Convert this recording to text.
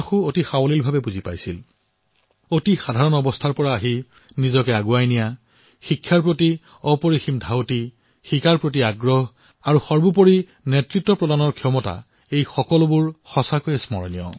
অতিশয় সাধাৰণ ঘৰৰ পৰা আহি তেওঁ যিদৰে দেশক নেতৃত্ব প্ৰদান কৰিলে সেয়া অৱশ্যেই স্মৰণীয়